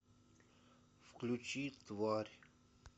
включи тварь